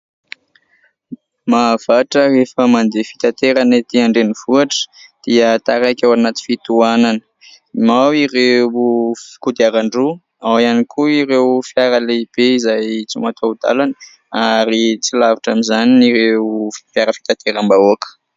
Mahavatra rehefa mandeha fitaterana ety andrenivohatra dia taraiky ao anaty fitoanana. Ao ireo kodiaran-droa, ao ihany koa ireo fiara lehibe izay tsy mataho-dalana ary tsy lavitra amin'izany ny ireo fiara fitanteram-bahoaka.